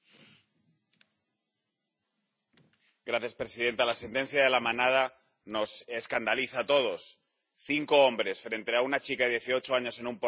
Señora presidenta, la sentencia de La Manada nos escandaliza a todos cinco hombres frente a una chica de dieciocho años en un portal y no hay violencia, no hay intimidación.